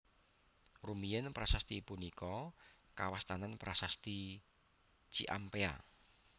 Rumiyin prasasti punika kawastanan Prasasti Ciampea